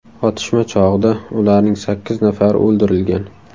Otishma chog‘ida ularning sakkiz nafari o‘ldirilgan.